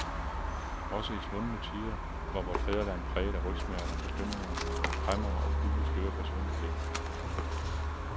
Også i svundne tider var vort fædreland præget af rygsmerter, bekymringer, kræmmere og kugleskøre personligheder.